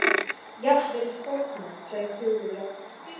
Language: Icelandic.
Jafnvel í fornöld sveif hugur jafn hátt.